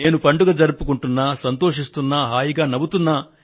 నేను పండుగ జరుపుకొంటున్నా సంతోషిస్తున్నా హాయిగా నవ్వుతున్నా